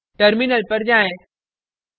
terminal पर जाएँ